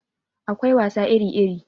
Akwai wasa iri iri